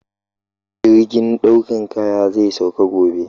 Jirgin ɗaukan kaya zai sauka gobe